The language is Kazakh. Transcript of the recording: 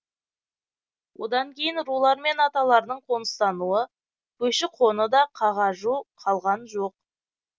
одан кейін рулар мен аталардың қоныстануы көші қоны да қағажу қалған жоқ